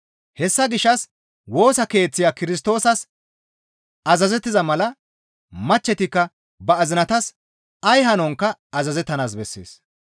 Hessa gishshas Woosa Keeththiya Kirstoosas azazettiza mala machchetikka ba azinatas ay hanonkka azazettanaas bessees.